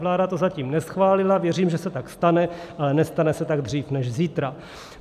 Vláda to zatím neschválila, věřím, že se tak stane, ale nestane se tak dřív než zítra.